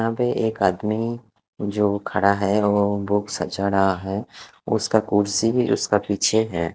यहाँ पे एक आदमी जो खड़ा है वो बुकस सजा रहा है उसका कुर्सी उसका पीछे है।